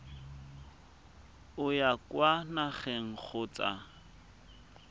o ya kwa nageng kgotsa